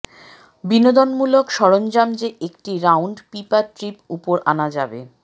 বিনোদনমূলক সরঞ্জাম যে একটি রাউন্ড পিপা ট্রিপ উপর আনা যাবে